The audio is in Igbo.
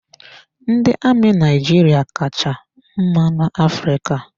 Ndị amị Naijiria ka cha mma na-Afrịka.